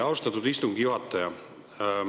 Austatud istungi juhataja!